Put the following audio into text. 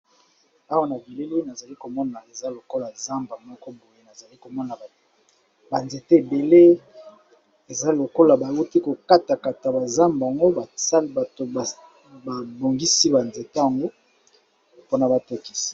Awa na bilili oyo nazali komona lokola zamba nazomona ba nzete ebele bauti ko kata kata ba zamba ba bongisi ba nzete po batekisa.